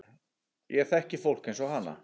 Ég þekki fólk eins og hana.